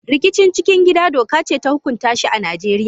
Rikicin cikin gida doka ce ta huƙunta shi a Najeriya.